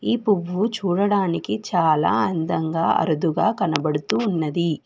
ఈ పువ్వు చూడడానికి చాలా అందంగా అరుదుగా కనబడుతూ ఉన్నది.